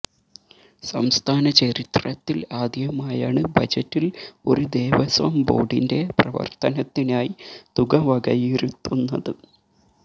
സംസ്ഥാന ചരിത്രത്തില് ആദ്യമായാണ് ബജറ്റില് ഒരു ദേവസ്വം ബോർഡിന്റെ പ്രവർത്തനത്തിനായി തുക വകയിരുത്തുന്നത്